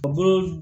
O dun